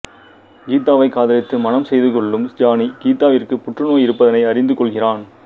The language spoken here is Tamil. கீதாவை காதலித்து மணம் செய்து கொள்ளும் ஜானி கீதாவிற்கு புற்று நோய் இருப்பதனை அறிந்து கொள்கிறான்